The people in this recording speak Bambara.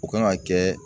O kan ka kɛ